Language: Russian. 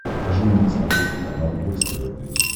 покажи мне на смотрешке канал бокс тв плюс